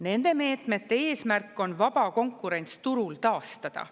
Nende meetmete eesmärk on vaba konkurents turul taastada.